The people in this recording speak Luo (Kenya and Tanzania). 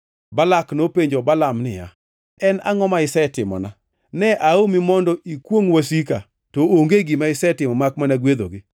Balak nopenjo Balaam niya, “En angʼo ma isetimona? Ne aomi mondo ikwongʼ wasika, to onge gima isetimo makmana gwedhogi!”